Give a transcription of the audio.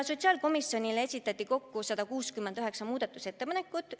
Sotsiaalkomisjonile esitati kokku 169 muudatusettepanekut.